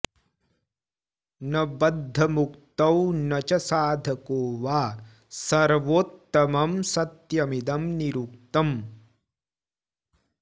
न बद्धमुक्तौ न च साधको वा सर्वोत्तमं सत्यमिदं निरुक्तम्